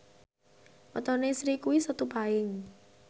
wetone Sri kuwi Setu Paing